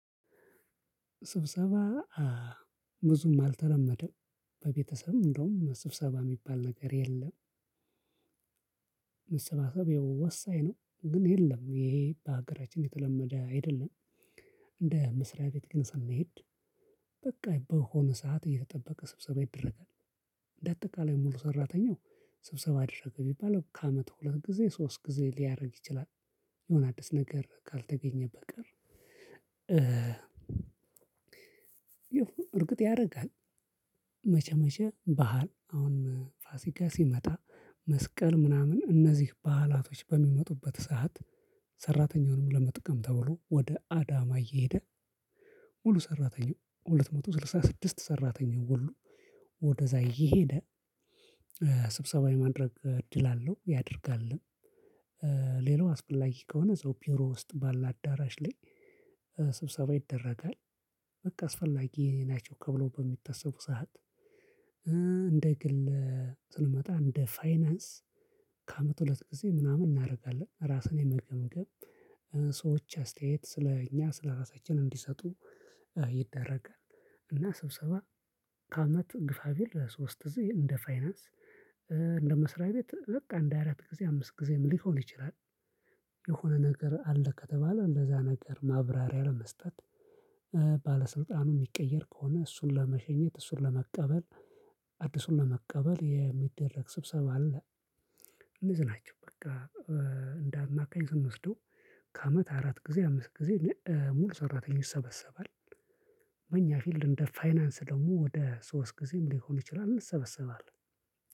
ስብሰባ ብዙም አልተለመደም በቤተሰብ እንደውም ስብሰባ የሚባል ነገር የለም። መሰባሰብ ይኸው ወሳኝ ነው ግን የለም ይሄ በሀገራችን የተለመደ አይደለም። እንደ መስሪያ ቤት ግን ስንሄድ በቃ በሆነ ሰዓት እየተጠበቀ ስብሰባ ይደረጋል። እንደ አጠቃላይ ሙሉ ሰራተኛው ስብሰባ አደረገ ቢባል ከአመት ሁለት ጊዜ ሶስት ጊዜ ሊያደርግ ይችላል የሆነ አዲስ ነገር ካልተገኘ በቀር። እርግጥ ያደርጋል። መቼ መቼ በዓል አሁን ፋሲካ ሲመጣ መስቀል ምናምን እነዚህ በዓላቶች በሚመጡበት ሰዓት። ሰራተኛውንም ለመጥቀም ተብሎ ወደ አዳማ እየሄደ። ሙሉ ሰራተኛው ሁለት መቶ ስልሳ ስድስት ሰራተኛው ሁሉ ወደዛ እየሄደ ስብሰባ የማድረግ እድል አለው ያደርጋልም። ሌላው አስፈላጊ ከሆነ እዛው ቢሮ ውስጥ ባለ አዳራሽ ላይ ስብሰባ ይደረጋል። በቃ አስፈላጊ ናቸው ተብሎ በሚታሰብ ሰዓት። እንደ ግለ ስንመጣ እንደ ፋይናንስ ከአመት ሁለት ጊዜ ምናምን እናደርጋለን ራስን የመገምገም ሰዎች አስተያየት ስለእኛ ስለራሳችን እንዲሰጡ ይደረጋል። እና ስብሰባ ከአመቱ ግፋ ቢል ሶስት ጊዜ እንደ ፋይናንስ እንደ መስሪያ ቤት በቃ እንደ አራት ጊዜ አምስት ጊዜም ሊሆን ይችላል። የሆነ ነገር አለ ከተባለ እንደዛ ነገር ማብራሪያ ለመስጠት ባለስልጣኑ የሚቀየር ከሆነ እሱን ለመሸኘት እሱን ለመቀበል አዲሱን ለመቀበል የሚደረግ ስብሰባ አለ። እነዚ ናቸው በቃ እንደ አማካኝ ስንወስደው ከአመት አራት ጊዜ አምስት ጊዜ ሙሉ ሰራተኞች ይሰበሰባል። በኛ ፊልድ እንደ ፋይናንስ ደግሞ ወደ ሶስት ጊዜም ሊሆን ይችላል እንሰበሰባለን።